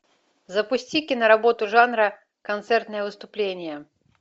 запусти киноработу жанра концертное выступление